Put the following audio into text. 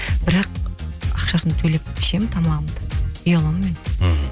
бірақ ақшасын төлеп ішемін тамағымды ұяламын мен мхм